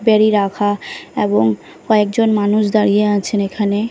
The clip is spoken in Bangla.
বেড়ি রাখা এবং কয়েকজন মানুষ দাঁড়িয়ে আছেন এখানে।